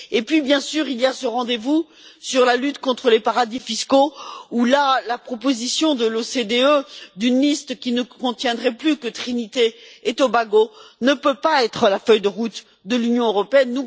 Sans oublier ce rendez vous sur la lutte contre les paradis fiscaux la proposition de l'OCDE, d'une liste qui ne contiendrait plus que Trinité et Tobago, ne peut pas être la feuille de route de l'Union européenne.